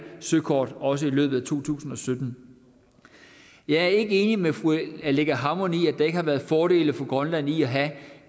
søkort også i løbet af to tusind og sytten jeg er ikke enig med fru aleqa hammond i at der ikke har været fordele for grønland i at have